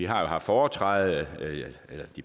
har haft foretræde